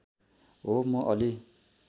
हो म अलि